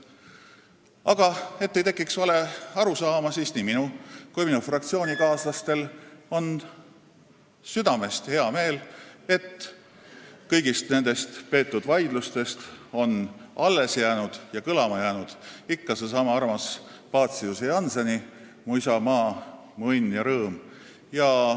Aga et ei tekiks valearusaama, siis ütlen, et nii minul kui ka minu fraktsioonikaaslastel on südamest hea meel, et kõigist nendest vaidlustest on alles ja kõlama jäänud ikka seesama armas Paciuse ja Jannseni "Mu isamaa, mu õnn ja rõõm".